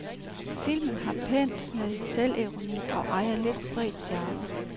Filmen har pænt med selvironi og ejer lidt spredt charme.